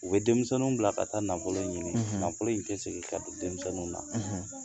U be denmisɛnninw bila ka taa nafolo ɲini , nafolo in te segin ka don denmisɛnninw na